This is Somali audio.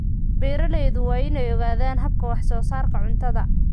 Beeraleydu waa inay ogaadaan hababka wax-soo-saarka cuntada.